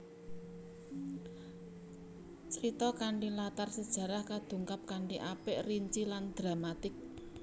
Crita kanthi latar sejarah kadungkap kanthi apik rinci lan dramatik